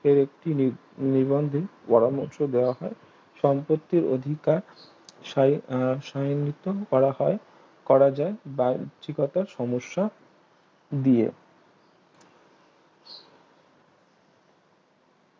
একটি নিবন্ধে পরামর্শ দেওয়া হয় সম্পত্তির অধিকার সায়ে সায়িনিত করা হয় করা যায় বা রুচিকতার সমস্যা দিয়ে